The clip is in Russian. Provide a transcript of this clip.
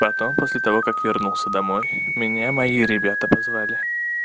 потом после того как вернулся домой меня мои ребята позвали